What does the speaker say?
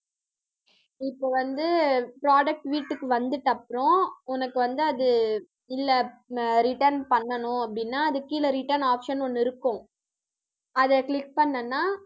இப்ப வந்து product வீட்டுக்கு வந்ததுட்டப்புறம், உனக்கு வந்து அது இல்ல return பண்ணணும் அப்படின்னா அதுக்கு கீழே return option ஒண்ணு இருக்கும். அதை click பண்ணேன்னா